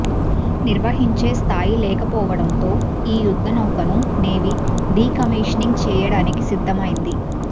నిర్వహించే స్థాయి లేకపోవడంతో ఈ యుద్ధ నౌకను నేవీ డీకమీషనింగ్ చేయడానికి సిద్దమైంది